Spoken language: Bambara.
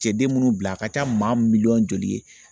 Cɛden minnu bila a ka ca maa mi miliyɔn joli ye